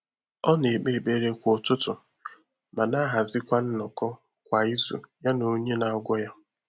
Ọ́ nà-ékpé ékpèré kwá ụ́tụ́tụ̀ mà nà-àhàzị́kwà nnọ́kọ́ kwá ízù yá nà ọ́nyé nà-àgwọ́ yá.